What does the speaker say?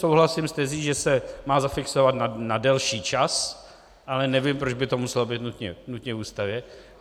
Souhlasím s tezí, že se má zafixovat na delší čas, ale nevím, proč by to muselo být nutně v Ústavě.